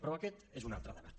però aquest és un altre debat